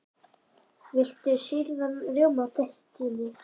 Viltu sýrðan rjóma með tertunni?